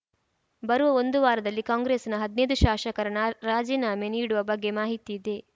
ಬರುವ ಒಂದು ವಾರದಲ್ಲಿ ಕಾಂಗ್ರೆಸ್‌ನ ಹದ್ನೈದು ಶಾಶಕರು ರಾಜಿನಾಮೆ ನೀಡುವ ಬಗ್ಗೆ ಮಾಹಿತಿಯಿದೆ